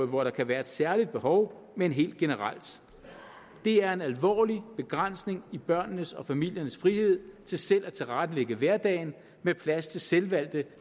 hvor der kan være et særligt behov men helt generelt det er en alvorlig begrænsning i børnenes og familiernes frihed til selv at tilrettelægge hverdagen med plads til selvvalgte